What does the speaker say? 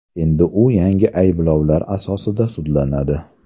Endi u yangi ayblovlar asosida sudlanadi.